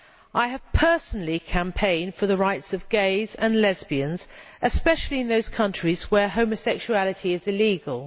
I have personally campaigned for the rights of gays and lesbians, especially in those countries where homosexuality is illegal.